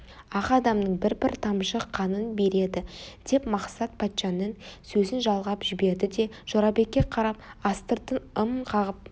ақ адамның бір-бір тамшы қанын береді деп мақсат патшаның сөзін жалғап жіберді де жорабекке қарап астыртын ым қағып